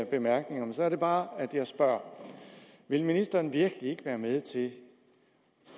bemærkninger men så er det bare at jeg spørger vil ministeren virkelig ikke være med til